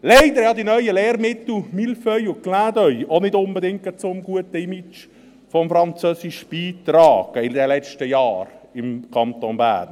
Leider haben die neuen Lehrmittel «Mille feuilles» und «Clin d’œil» in den letzten Jahren im Kanton Bern auch nicht unbedingt gerade zum guten Image des Französischen beigetragen.